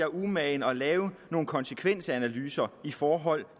umage at lave nogle konsekvensanalyser i forhold